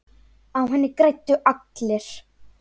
Á henni græddu allir.